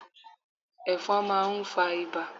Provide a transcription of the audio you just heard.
Ẹ̀fọn máa ń fa ibà